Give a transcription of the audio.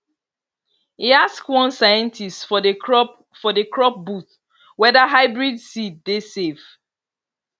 e ask one scientist for the crop for the crop booth whether hybrid seed dey safe